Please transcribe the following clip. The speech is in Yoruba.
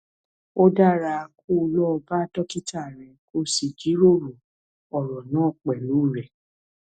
ó dára kó o lọ bá dókítà rẹ kó o sì jíròrò ọrọ náà pẹlú rẹ